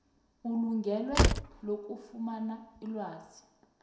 elungelweni lokufumana ilwazi